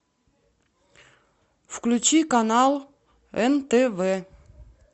включи канал нтв